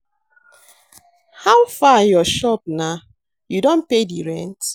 How far your shop na? You don pay di rent?